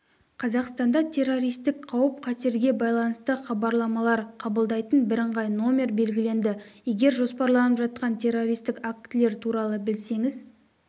қазақстанда террористік қауіп-қатерге байланысты хабарламалар қабылдайтын бірыңғай номер белгіленді егер жоспарланып жатқан террористік актілер туралы білсеңіз